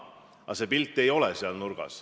Aga see pilt ei ole selline.